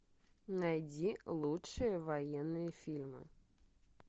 найди лучшие военные фильмы